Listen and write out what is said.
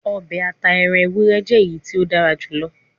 Obe ata eran ewurẹ jẹ eyiti o dara julọ